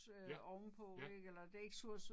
Ja, ja